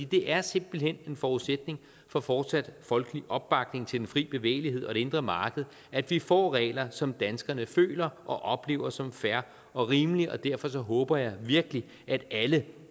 det er simpelt hen en forudsætning for fortsat folkelig opbakning til den frie bevægelighed og det indre marked at vi får regler som danskerne føler og oplever som fair og rimelige og derfor håber jeg virkelig at alle